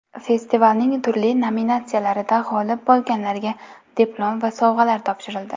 Festivalning turli nominatsiyalarida g‘olib bo‘lganlarga diplom va sovg‘alar topshirildi.